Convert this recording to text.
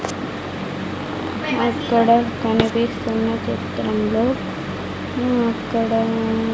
అక్కడ కనిపిస్తున్న చిత్రంలో అహ్ అక్కడా--